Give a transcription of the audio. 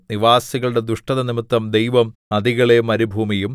നിവാസികളുടെ ദുഷ്ടതനിമിത്തം ദൈവം നദികളെ മരുഭൂമിയും